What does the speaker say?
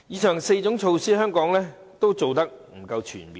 上述4項措施，香港均做得不夠全面。